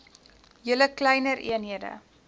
julle kleiner eenhede